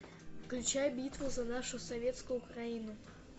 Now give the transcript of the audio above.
включай битву за нашу советскую украину